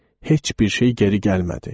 Heç bir şey geri gəlmədi.